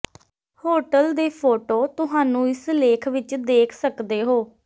hotel ਦੇ photo ਤੁਹਾਨੂੰ ਇਸ ਲੇਖ ਵਿਚ ਦੇਖ ਸਕਦੇ ਹੋ